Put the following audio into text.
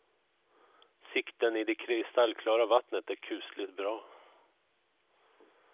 Sikten i det kristallklara vattnet är kusligt bra.